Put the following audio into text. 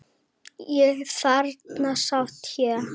Og þarna sat hann.